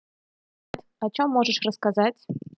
о чём можешь рассказать